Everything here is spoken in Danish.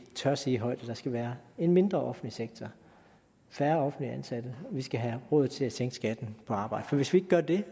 tør sige højt at der skal være en mindre offentlig sektor færre offentligt ansatte og vi skal have råd til at sænke skatten på arbejde for hvis vi ikke gør det